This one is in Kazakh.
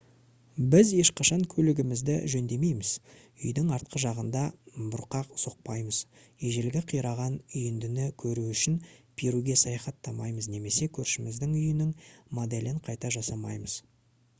біз ешқашан көлігімізді жөндемейміз үйдің артқы жағында бұрқақ соқпаймыз ежелгі қираған үйіндіні көру үшін перуге саяхаттамаймыз немесе көршіміздің үйінің моделін қайта жасамаймыз